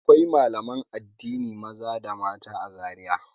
Akwai malaman addini maza da mata a Zariya.